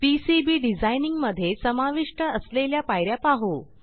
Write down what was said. PCB designing मधे समाविष्ट असलेल्या पाय या पाहू